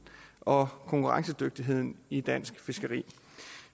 og konkurrencedygtigheden i dansk fiskeri